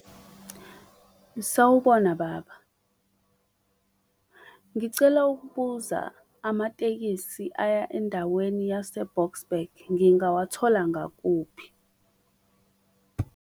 Sawubona baba, ngicela ukubuza amatekisi aya endaweni yaseBoksburg ngingawathola ngakuphi?